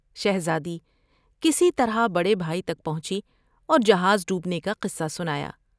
شہزادی کسی طرح بڑے بھائی تک پہنچی اور جہاز ڈوبنے کا قصہ سنایا ۔